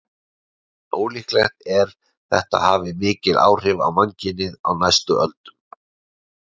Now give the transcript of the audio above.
En ólíklegt er þetta hafi mikil áhrif á mannkynið á næstu öldum.